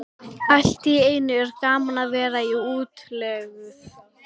Allt í einu er gaman að vera í útlegð.